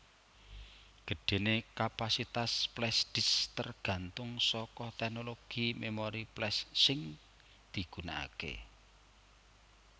Gedhenè kapasitas flashdisk tergantung saka teknologi memori flash sing digunakakè